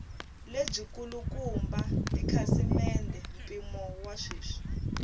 lebyikulukumba tikhasimende mpimo wa sweswi